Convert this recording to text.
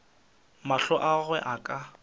mahlo a gagwe a ka